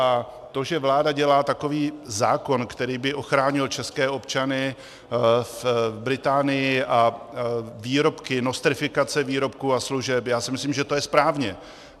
A to, že vláda dělá takový zákon, který by ochránil české občany v Británii a výrobky, nostrifikace výrobků a služeb - já si myslím, že to je správně.